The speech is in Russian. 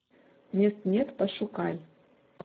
мест нет пошукай